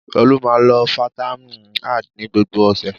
Olú máa ń lo fataímìn ad ní gbogbo ọ̀sẹ̀.